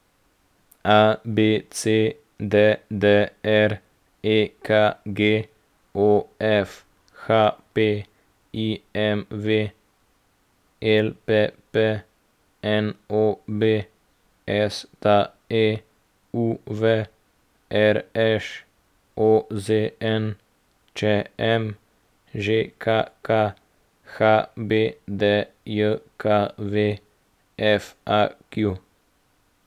ABC, DDR, EKG, OF, HP, IMV, LPP, NOB, STA, UV, RŠ, OZN, ČM, ŽKK, HBDJKV, FAQ.